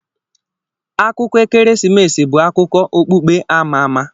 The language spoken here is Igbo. Akụkọ ekeresimesi bụ akụkọ okpukpe ama ama.